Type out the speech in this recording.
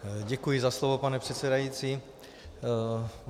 Děkuji za slovo, pane předsedající.